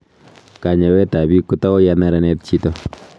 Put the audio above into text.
kanyeweet ab biik kotau ya neranet chito